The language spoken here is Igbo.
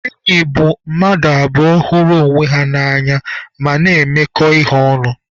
Enyi bụ mmadụ abụọ hụrụ onwe ha na-emekọ ihe ọnụ.